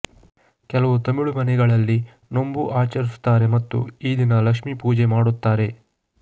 ಕೆಲವು ತಮಿಳು ಮನೆಗಳಲ್ಲಿ ನೊಂಬು ಆಚರಿಸುತ್ತಾರೆ ಮತ್ತು ಈ ದಿನ ಲಕ್ಷ್ಮಿ ಪೂಜೆ ಮಾಡುತ್ತಾರೆ